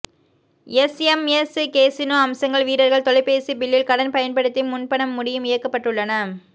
SMS casino அம்சங்கள் வீரர்கள் தொலைபேசி பில்லில் கடன் பயன்படுத்தி முன்பணம் முடியும் இயக்கப்பட்டுள்ளன